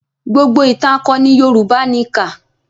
Gbogbo ìtàn akọni Yorùbá ni kà.